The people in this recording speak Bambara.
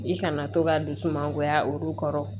I kana to ka dusu mangoya olu kɔrɔ